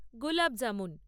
gulab jamun